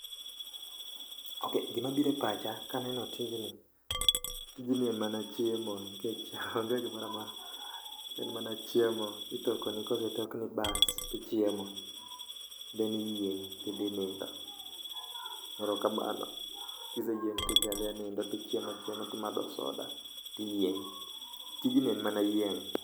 Ok, gimabire pacha kaneno tijni, tijni en mana chiemo nikech onge gimorara. En mana chiemo, itokoni kosetokni, baas, tichiemo then iyieng' tidhi nindo. Erokamano, kiseyieng' tidhiadhia nindo tichiemachiema timadho soda, tiyieng'. Tijni en mana yieng'.